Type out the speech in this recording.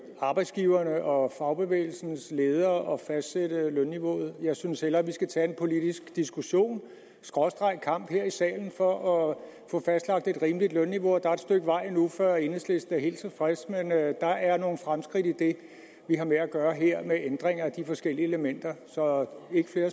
arbejdsgiverne og fagbevægelsens ledere at fastsætte lønniveauet jeg synes hellere at vi skal tage en politisk diskussionkamp her i salen for at få fastlagt et rimeligt lønniveau der er et stykke vej endnu før vi i enhedslisten er helt tilfredse men der er nogle fremskridt i det vi har med at gøre her med ændringer af de forskellige elementer så